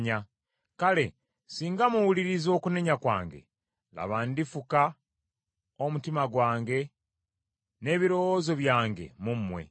Kale singa muwuliriza okunenya kwange, laba, ndifuka omutima gwange n’ebirowoozo byange mu mmwe.